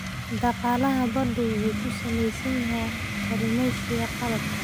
Dhaqaalaha baddu wuxuu ku salaysan yahay kalluumaysiga qalabka.